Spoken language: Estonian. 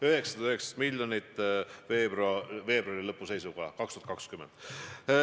919 miljonit veebruari lõpu seisuga aastal 2020.